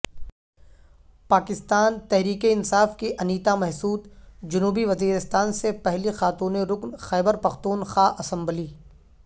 پاکستان تحریک انصاف کی انیتا محسود جنوبی وزیرستان سے پہلی خاتون رکن خیبرپختونخوا اسمبلی